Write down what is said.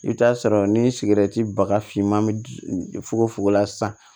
I bɛ t'a sɔrɔ ni sigɛrɛti bagafinman bɛ fogo fuko la sisan